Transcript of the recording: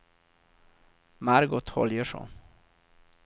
Margot Holgersson